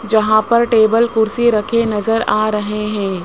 जहां पर टेबल कुर्सी रखे नजर आ रहे हैं।